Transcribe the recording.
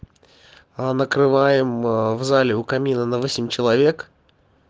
а накрываем в зале у камина на восемь человек